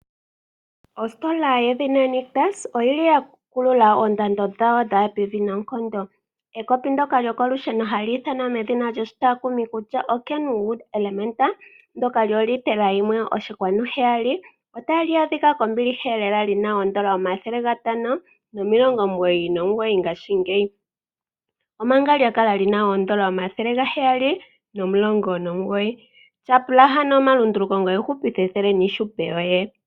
Ositola yedhina Nictus oya kulula oondando dhawo dha ya pevi noonkondo. Ekopi ndyoka lyokolusheno hali ithanwa medhina lyoshitakumi kutya oKenwood Elementa, ndyoka lyoolitela 1.7 otali adhika kombiliha lela li n aN$ 599, omanga lya kala li na N$ 719. Tyapula ano omalunduluko ngoye wu hupithe ethele niihupe yoye.